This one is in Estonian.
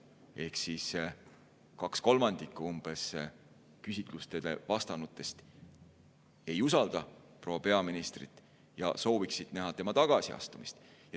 Ehk siis umbes kaks kolmandikku küsitlustele vastanutest ei usalda proua peaministrit ja sooviksid näha tema tagasiastumist.